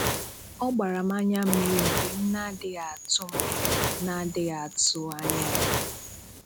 Ọ gbàrà m ànyà mmírí mgbe m n’adịghị atụ̀ m n’adịghị atụ̀ anya ya